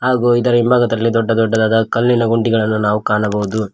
ಹಾಗು ಇದರ ಹಿಂಭಾಗದಲ್ಲಿ ದೊಡ್ಡ ದೊಡ್ಡದಾದ ಕಲ್ಲಿನ ಗುಂಡಿಗಳನ್ನು ನಾವು ಕಾಣಬಹುದು.